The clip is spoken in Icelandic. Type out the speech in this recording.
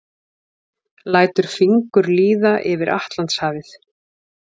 Lætur fingur líða yfir Atlantshafið.